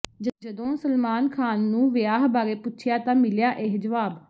ਜਦੋਂ ਸਲਮਾਨ ਖ਼ਾਨ ਨੂੰ ਵਿਆਹ ਬਾਰੇ ਪੁੱਛਿਆ ਤਾਂ ਮਿਲਿਆ ਇਹ ਜਵਾਬ